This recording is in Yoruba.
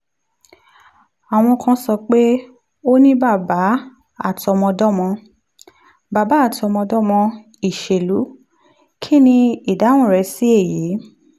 àwọn kan sọ pé o ní bàbá àtọmọdọ́mọ bàbá àtọmọdọ́mọ ìṣèlú kí ni ìdáhùn rẹ sí èyí?